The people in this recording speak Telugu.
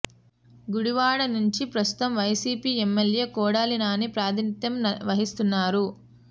గుడివాడ నుంచి ప్రస్తుతం వైసీపీ ఎమ్మెల్యే కొడాలి నాని ప్రాథినిత్యం వహిస్తున్నారు